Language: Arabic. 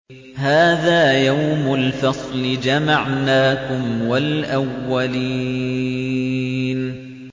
هَٰذَا يَوْمُ الْفَصْلِ ۖ جَمَعْنَاكُمْ وَالْأَوَّلِينَ